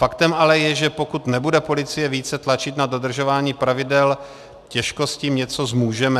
Faktem ale je, že pokud nebude policie více tlačit na dodržování pravidel, těžko s tím něco zmůžeme.